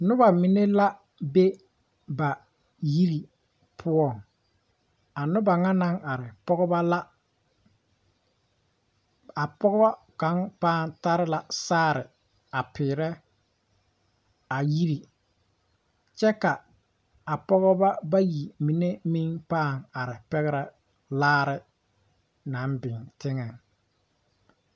Nobɔ mine la be ba yiri poɔ a nobɔ ŋa naŋ are pɔgebɔ la a pɔgɔ kaŋ pãã tare la saare a piirɛ a yiri kyɛ ka a pɔgeba bayi mine meŋ pãã are pɛgrɛ laare naŋ biŋ teŋɛŋ.